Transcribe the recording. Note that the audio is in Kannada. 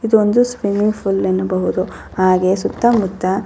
ಇದೊಂದು ಸ್ವಿಮ್ಮಿಂಗ್ ಫೂಲ್ ಎನ್ನಬಹುದು ಹಾಗೆ ಸುತ್ತ ಮುತ್ತ --